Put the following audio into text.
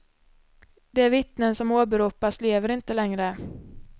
De vittnen som åberopas lever inte längre.